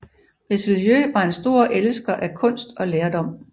Richelieu var en stor elsker af kunst og lærdom